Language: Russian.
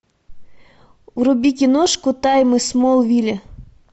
вруби киношку тайны смолвиля